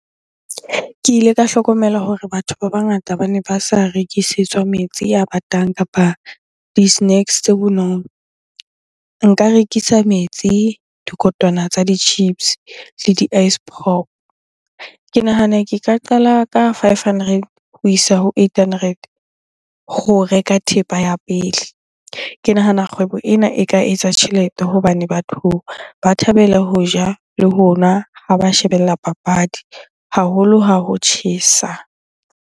Ke ile ka hlokomela hore batho ba bangata bane ba sa rekisetswa metsi a batang kapa di-snacks tse bonolo. Nka rekisa metsi, dikotwana tsa di-chips le di-ice pop. Ke nahana ke ka qala ka five hundred ho isa ho eight hundred ho reka thepa ya pele. Ke nahana kgwebo ena e ka etsa tjhelete hobane batho ba thabela ho ja le ho nwa ha ba shebella papadi haholo ha ho tjhesa.